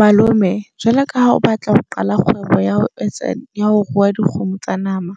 Malome jwalo ka ha o batla ho qala kgwebo ya ho etsa ya ho rua dikgomo tsa nama.